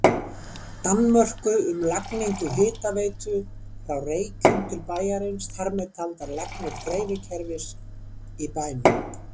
Danmörku um lagningu hitaveitu frá Reykjum til bæjarins, þar með taldar lagnir dreifikerfis í bænum.